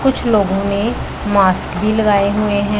कुछ लोग ने मास्क भी लगाए हुए है।